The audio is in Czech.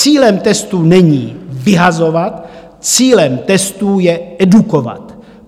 Cílem testů není vyhazovat, cílem testů je edukovat.